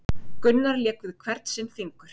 Gunnar lék við hvern sinn fingur